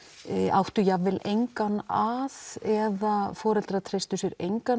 áttu jafn vel engan að eða foreldrar treystu sér engan